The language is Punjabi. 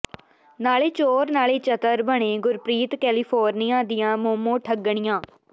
ਨਾਲੇ ਚੋਰ ਨਾਲੇ ਚਤਰ ਬਣੇ ਗੁਰਪ੍ਰੀਤ ਕੈਲੇਫੋਰਨੀਆਂ ਦੀਆਂ ਮੋਮੋ ਠੱਗਣੀਆਂ